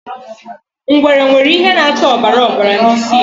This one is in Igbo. Ngwere nwere ihe na-acha ọbara ọbara n'isi ya.